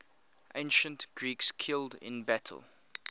ancient greeks killed in battle